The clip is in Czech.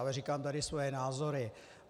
Ale říkám tady svoje názory.